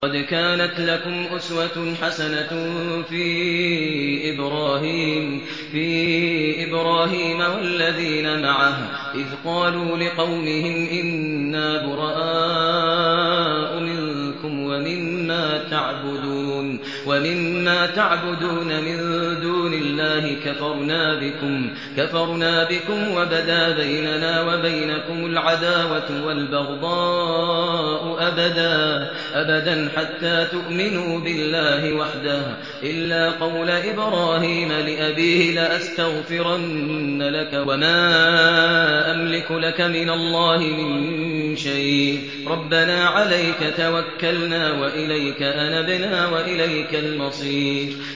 قَدْ كَانَتْ لَكُمْ أُسْوَةٌ حَسَنَةٌ فِي إِبْرَاهِيمَ وَالَّذِينَ مَعَهُ إِذْ قَالُوا لِقَوْمِهِمْ إِنَّا بُرَآءُ مِنكُمْ وَمِمَّا تَعْبُدُونَ مِن دُونِ اللَّهِ كَفَرْنَا بِكُمْ وَبَدَا بَيْنَنَا وَبَيْنَكُمُ الْعَدَاوَةُ وَالْبَغْضَاءُ أَبَدًا حَتَّىٰ تُؤْمِنُوا بِاللَّهِ وَحْدَهُ إِلَّا قَوْلَ إِبْرَاهِيمَ لِأَبِيهِ لَأَسْتَغْفِرَنَّ لَكَ وَمَا أَمْلِكُ لَكَ مِنَ اللَّهِ مِن شَيْءٍ ۖ رَّبَّنَا عَلَيْكَ تَوَكَّلْنَا وَإِلَيْكَ أَنَبْنَا وَإِلَيْكَ الْمَصِيرُ